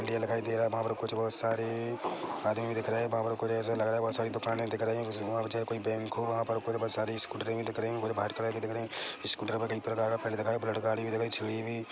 ये दिखाई दे रहा है वहाँ पर कुछ और साड़ी आदमी दिख रहे है वहाँ पर कुछ ऐसा लग रहा है बोहोत सारी दुकानें दिख रही है वहाँ पर कोई चाहे बैंक हो वहाँ पर मुझे कुछ बोहोत सारी स्कूटरें भी दिख रही है वह व्हाइट कलर की दिख री स्कूटर में कई प्रकार का फील्ड दिखाई बुलेट गाड़ी भी दिख रही छड़ी भी --